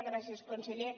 gràcies conseller